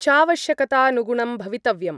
चावश्यकतानुगुणं भवितव्यम्।